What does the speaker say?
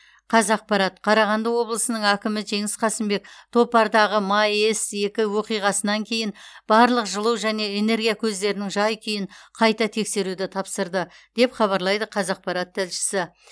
қазақпарат қарағанды облысының әкімі жеңіс қасымбек топардағы маэс екі оқиғасынан кейін барлық жылу және энергия көздерінің жай күйін қайта тексеруді тапсырды деп хабарлайды қазақпарат тілшісі